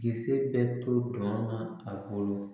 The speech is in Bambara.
Kisɛ bɛɛ to ma a kɔnɔ